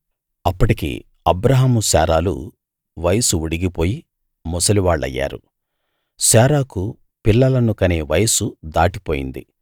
అప్పటికి అబ్రాహాము శారాలు వయసు ఉడిగిపోయి ముసలివాళ్ళయ్యారు శారాకు పిల్లలను కనే వయసు దాటిపోయింది